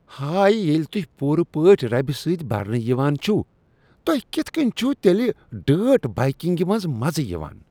ہاے۔ ۔ ییٚلہِ تُہۍ پوٗرٕ پٲٹھۍ ربہِ سٕتۍ برنہٕ یوان چھِو تُہۍ کِتھ کٕنۍ چِھو تیٚلہِ ڈٲرٹ بائیکِنگہِ منٛز مزٕ یوان؟